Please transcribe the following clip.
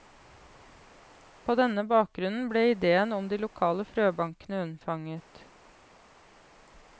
På denne bakgrunnen ble ideen om de lokale frøbankene unnfanget.